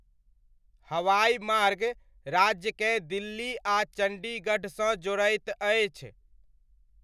हवाइ मार्ग राज्यकेँ दिल्ली आ चण्डीगढ़सँ जोड़ैत अछि।